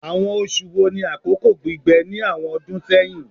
Awọn oṣu wo ni akoko gbigbẹ ni awọn ọdun sẹhin?